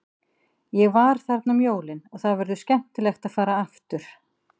Ég var þarna um jólin og það verður skemmtilegt að fara aftur.